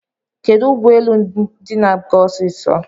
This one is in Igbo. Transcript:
Kedu ụgbọelu ndi na-aga osiso?